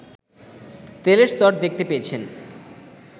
তেলের স্তর দেখতে পেয়েছেন